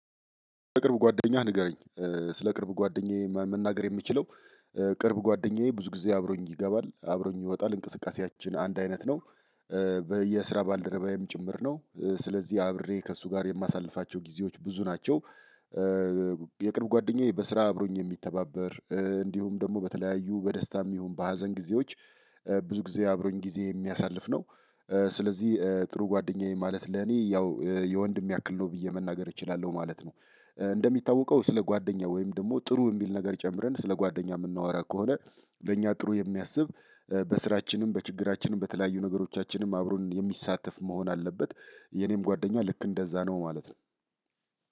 ቅርብ ጓደኛህ ንገረኝ ስለ ቅርብ ጓደኛዬ መናገር የምችለው ቅርብ ጓደኛዬ ብዙ ጊዜ አብሮኝ ይገባል አብሮኝ ይወጣል እንቅስቃሴያችን አንድ አይነት ነው። የስራ ባልደረባዬም ጭምር ነው ስለዚህ አብሬ ከእሱ ጋር የማሳልፋቸው ጊዜዎች ብዙ ናቸው። የቅርብ ጓደኛዬ በስራ አብሮኝ የሚተባበር እንዲሁም ደግሞ በተለያዩ በደስታም ይሁን በሀዘን ጊዜዎች ብዙ ጊዜ አብሮኝ ጊዜ የሚያሳልፍ ነው። ስለዚህ ጥሩ ጓደኛዬ ማለት ለኔ ያው የወንድሜ ያክል ነው ብዬ መናገር እችላለሁ ማለት ነው። እንደሚታወቀው ስለ ጓደኛ ወይም ደግሞ ጥሩ የሚል ነገር ጨምረን ስለ ጓደኛ የምናወራ ከሆነ ለእኛ ጥሩ የሚያስብ በስራችንም በችግራችንም በተለያዩ ነገሮቻችንም አብሮን የሚሳተፍ መሆን አለበት። የኔም ጓደኛ ልክ እንደዛ ነው ማለት ነው።